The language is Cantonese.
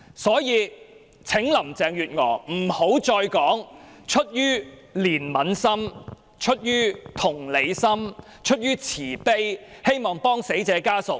所以，請林鄭月娥不要再說出於憐憫心、出於同理心、出於慈悲，希望協助死者家屬。